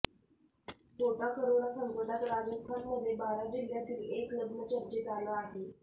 Kota corona संकटात राजस्थानमध्ये बारा जिल्ह्यातील एक लग्न चर्चेत आलं आहे